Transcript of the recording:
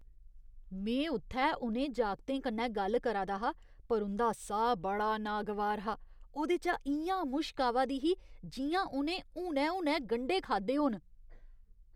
में उ'त्थै उ'नें जागतें कन्नै गल्ल करा दा हा पर उं'दा साह् बड़ा नागवार हा। ओह्दे चा इ'यां मुश्क आवा दी ही जि'यां उ'नें हुनै हुनै गंढे खाद्धे होन।